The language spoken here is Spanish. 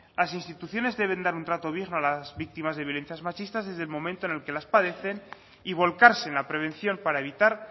las instituciones deben dar un trato digno a las víctimas de violencias machistas desde el momento en el que las padecen y volcarse en la prevención para evitar